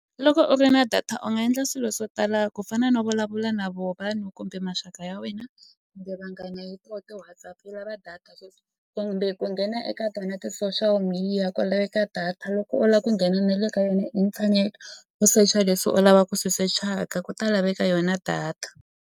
Loko u ri na data u nga endla swilo swo tala ku fana no vulavula na vona vanhu kumbe maxaka ya wena kumbe vanghana hi to ti-WhatsApp yi lava data sweswi kumbe ku nghena eka tona ti-social media ku laveka data loko u lava ku nghena na le ka yona inthanete u secha leswi u lavaka ku swi sechaka ku ta laveka yona data.